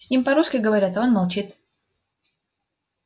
с ним по-русски говорят а он молчит